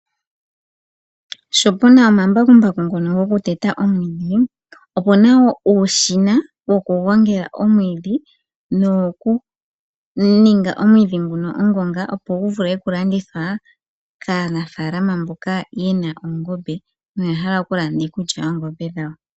Sho puna omambakumbaku ngono goku teta omwiidhi, opuna wo uushina woku gongela omwiidhi, nowo ku ninga omwiidhi nguno ongonga. Opo gu vule oku landithwa kaanafaalama mboka yena oongombe noya hala oku landa iikulya yOongombe dhawo.